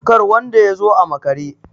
kar wanda ya zo a makare!